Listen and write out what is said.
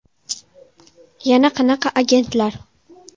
Yana qanaqa agentlar?!